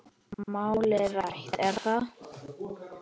Málið rætt er þar.